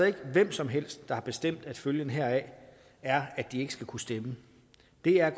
ikke hvem som helst der har bestemt at følgen heraf er at de ikke skal kunne stemme det er